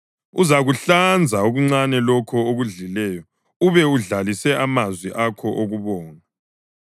Uzakuhlanza okuncane lokho okudlileyo ube udlalise amazwi akho okubonga.